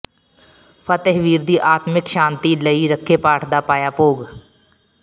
ਫ਼ਤਿਹਵੀਰ ਦੀ ਆਤਮਿਕ ਸ਼ਾਂਤੀ ਲਈ ਰੱਖੇ ਪਾਠ ਦਾ ਪਾਇਆ ਭੋਗ